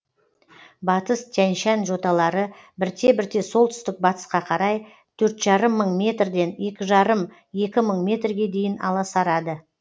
батыс тянь шань жоталары бірте бірте солтүстік батысқа қарай төрт жарым мың метрден екі жарым екі мың метрге дейін аласарады